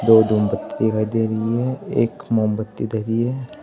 दो धूमबत्ती दिखाई दे रही है एक मोमबत्ती धरी है।